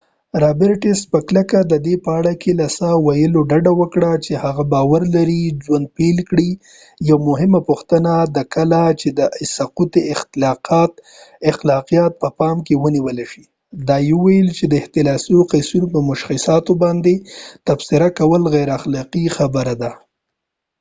رابرټس په کلکه د دې په اړه له څه ویلو ډډه وکړه چې هغه باور لري ژوند پیل کیږي یوه مهمه پوښتنه ده کله چې د سقط اخلاقیات په پام کې ونیول شي او دا یې ویل چې د احتمالي قضیو په مشخصاتو باندې تبصره کول غیر اخلاقي خبره ده